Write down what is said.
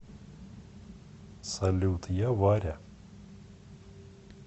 салют я варя